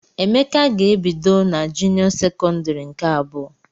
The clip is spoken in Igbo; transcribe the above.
Emeka ga-ebido n'junio sekondari nke abụọ.